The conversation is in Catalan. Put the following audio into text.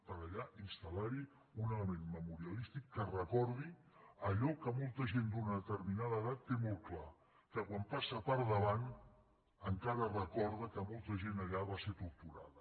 per allà instal·larhi un element memorialístic que recordi allò que molta gent d’una determinada edat té molt clar que quan hi passa per davant encara recorda que molta gent allà va ser torturada